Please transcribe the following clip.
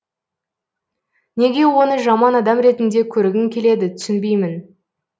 неге оны жаман адам ретінде көргің келеді түсінбеймін